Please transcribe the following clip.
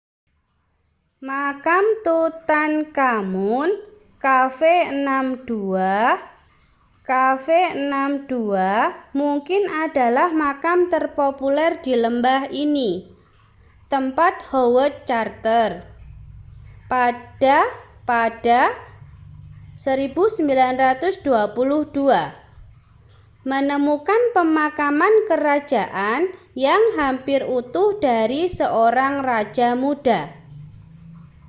makam tutankhamun kv62. kv62 mungkin adalah makam terpopuler di lembah ini tempat howard carter pada pada 1922 menemukan pemakaman kerajaan yang hampir utuh dari seorang raja muda